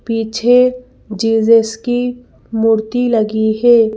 पीछे जीजस की मूर्ति लगी है।